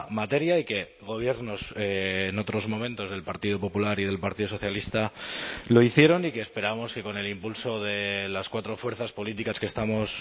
materia y que gobiernos en otros momentos del partido popular y del partido socialista lo hicieron y que esperamos que con el impulso de las cuatro fuerzas políticas que estamos